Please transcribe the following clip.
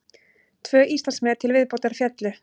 Tvö Íslandsmet til viðbótar féllu